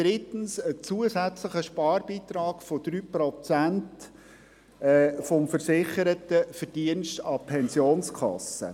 drittens ein zusätzlicher Sparbeitrag von 3 Prozent des versicherten Verdienstes an die Pensionskasse.